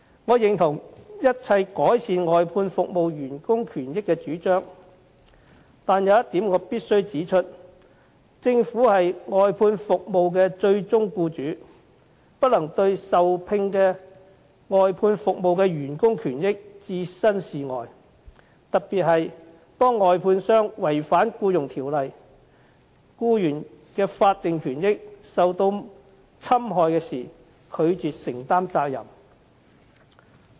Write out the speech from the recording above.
我認同一切改善外判服務員工權益的主張，但有一點我必須指出，政府是外判服務的最終僱主，不能對受聘外判服務員工的權益置身事外，特別是當外判商違反《僱傭條例》，僱員的法定權益受到侵害時，政府不能拒絕承擔責任。